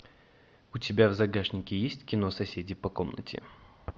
у тебя в загашнике есть кино соседи по комнате